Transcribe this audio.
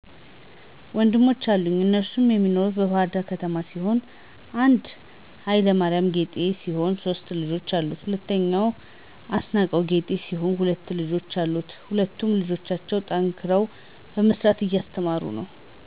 ወንድሞች አሉኝ እነሱም የሚኖሩት በባህርዳር ከተማ ሲሆን 1 ሀ/ማሪያም ጠጌ ሲሆን ሶስት ልጆች አሉት። 2 አስናቀው ጠጌ ሲሆን ሁለት ልጆች አሉት። ሁለቱም ልጆቻቸውን ጠንክረው በመስራት እያስተማሩ ነው።